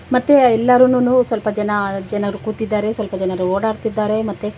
ಮತ್ತೆ ಎಲ್ಲರೂನೂನು ಸ್ವಲ್ಪ ಜನ ಜನರು ಕೂತಿದ್ದಾರೆ ಸ್ವಲ್ಪ ಜನರು ಓಡಾಡುತ್ತಿದ್ದಾರೆ ಮತ್ತೆ--